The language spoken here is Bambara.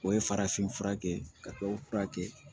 O ye farafinfura kɛ ka tubabu furakɛ